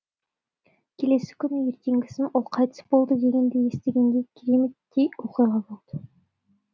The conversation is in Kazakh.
келесі күні ертеңгісін ол қайтыс болды дегенді естігенде кереметтей оқиға болды